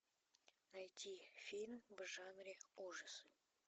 найти фильм в жанре ужасы